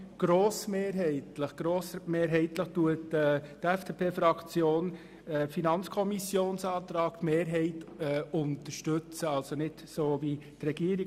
Grossmehrheitlich unterstützt die FDP-Fraktion die Planungserklärung der FiKoMehrheit, das heisst sie folgt nicht der Regierung.